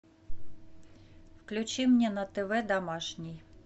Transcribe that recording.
включи мне на тв домашний